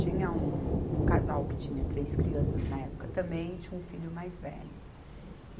Tinha um, um casal que tinha três crianças na época também e tinha um filho mais velho.